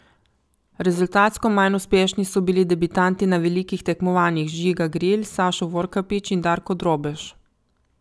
Rezultatsko manj uspešni so bili debitanti na velikih tekmovanjih Žiga Gril, Sašo Vorkapić in Darko Drobež.